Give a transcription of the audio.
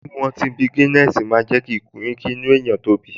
Mímu ọtí bí Guiness máa ń jẹ́ kí inú ènìyàn tóbi